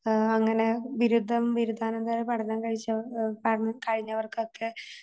ആ അങ്ങനെ ബിരുദം, ബിരുധാനാന്തര പഠനം കഴിച അഹ് പഠനം കഴിഞ്ഞവർക്കൊക്കെ